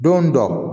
Don dɔ